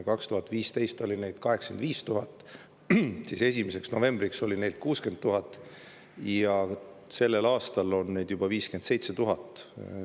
2015 oli neid 85 000, 1. novembriks oli neid 60 000 ja sellel aastal peaks see arv jääma juba 57 000 juurde.